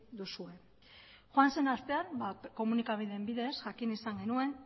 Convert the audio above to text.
duzue joan zen astean komunikabideen bidez jakin izan genuen